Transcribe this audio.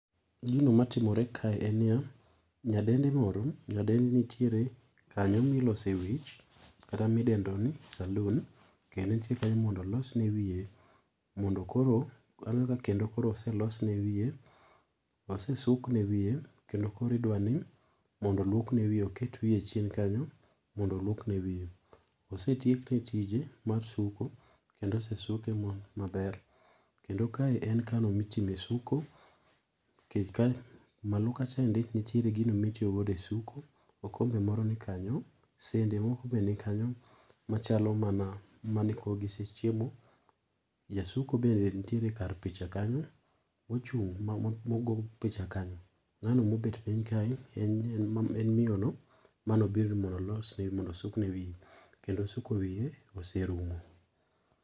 Gino matimore kae en niya ,nyadendi moro, nyadendi nitiere kanyo ma ilose wich kata ma idendo ni saloon kendo en tie kanyo mondo olosne ne wiye mondo koro aneno ka oselosne ne wiye osesukne wiye kendo koro idwaro mondo oluokne wiye, oket wiye chien kanyo mondo oluokne wiye. Osetiekne tije mar suko kendo osesuke maber, kendo kae en kanyo mitime suko, malo kacha nitiere gino ma itiyo godo e suko, okombe moro nikanyo, sende moko bende nikanyo machalo mana mani koro gisechiemo. Jasuko bende nitiere kar picha kanyo mochung mogo picha kanyo, ngano mobet piny kae mane obiro mondo osukne wiye kendo suko wiye oserumo.